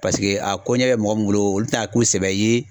Paseke a ko ɲɛ bɛ mɔgɔ min bolo olu tɛ n'a k'u sɛbɛ ye.